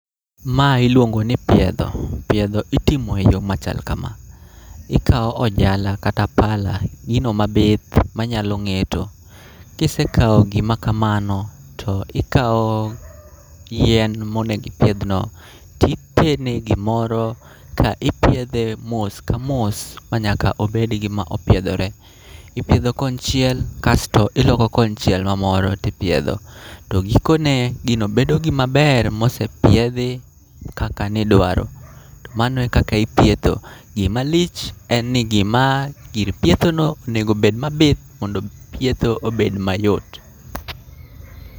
Ma iluongo ni piedho, piedho itimo e yo machal kama. Ikawo ojala kata pala, gino mabith manyalo ng'eto. Kisekawo gima kamano to ikawo yien monego ipidhno, titene gimoro ka ipiedhe mos ka mos ma nyaka obed gima opiedhore. Ipiedho konchiel kasto iloko konchiel ma moro tipiedho. To giko ne, gino bedo gima ber mosepiedhi kaka nidwaro. To mano e kaka ipietho. Gima lich en ni gima, gir pietho no onego obed mabith mondo pietho obed mayot.